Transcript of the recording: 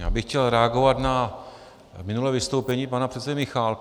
Já bych chtěl reagovat na minulé vystoupení pana předsedy Michálka.